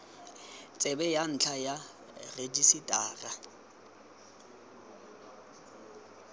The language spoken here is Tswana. tsebe ya ntlha ya rejisetara